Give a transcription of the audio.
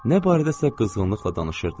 Nə barədəsə qızğınlıqla danışırdılar.